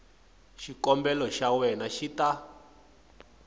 xikombelo xa wena xi ta